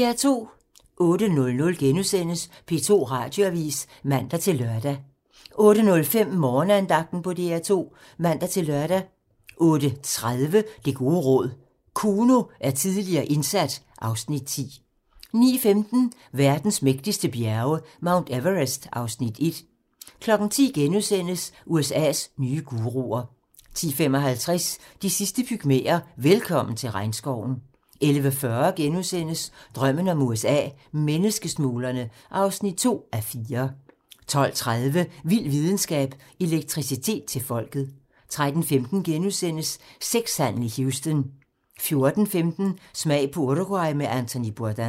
08:00: P2 Radioavis *(man-lør) 08:05: Morgenandagten på DR 2 (man-lør) 08:30: Det gode råd: Kuno er tidligere indsat (Afs. 10) 09:15: Verdens mægtigste bjerge: Mount Everest (Afs. 1) 10:00: USA's nye guruer * 10:55: De sidste pygmæer: Velkommen til regnskoven 11:40: Drømmen om USA: Menneskesmuglerne (2:4)* 12:30: Vild videnskab: Elektricitet til folket 13:15: Sexhandel i Houston * 14:15: Smag på Uruguay med Anthony Bourdain